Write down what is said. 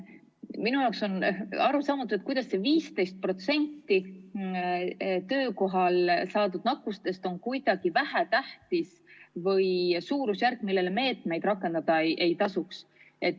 Minu jaoks on arusaamatu, kuidas saab 15% – töökohal nakatunute hulk – olla kuidagi vähetähtis või selline suurusjärk, mille korral meetmeid rakendada ei tasu.